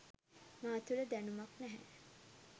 මා තුළ දැනුමක් නැහැ